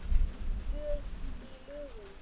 Í lögum